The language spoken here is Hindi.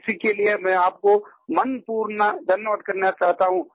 इसी के लिए मैं आपको मनपूर्ण धन्यवाद करना चाहता हूँ